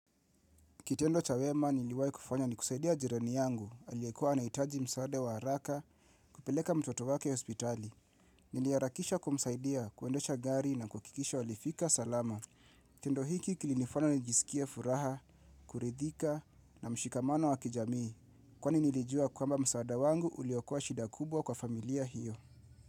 Kitendo cha wema niliwai kufanya nikusaidia jirani yangu, aliyekua anaitaji msaade wa haraka, kupeleka mtoto wake hospitali. Niliharakisha kumsaidia, kuendesha gari na kukikisha walifika salama. Tendo hiki kilinifanya nijisikie furaha, kuridhika na mshikamano wa kijamii. Kwani nilijua kwamba msaada wangu uliokoa shida kubwa kwa familia hiyo.